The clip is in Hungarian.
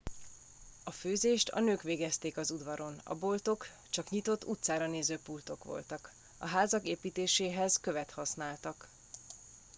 a főzést a nők végezték az udvaron a boltok csak nyitott utcára néző pultok voltak a házak építéséhez követ használtak